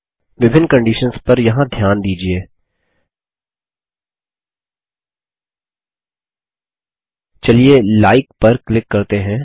विभिन्न कंडीशंस पर यहाँ ध्यान दीजिये चलिए लाइक पर क्लिक करते हैं